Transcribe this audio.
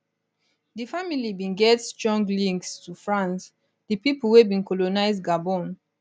di family bin get strong links to france di pipo wey bin colonise gabon